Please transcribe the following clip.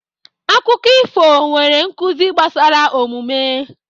Akụkọ ifo nwere nkuzi gbasara omume.